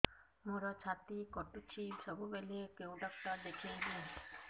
ମୋର ଛାତି କଟୁଛି ସବୁବେଳେ କୋଉ ଡକ୍ଟର ଦେଖେବି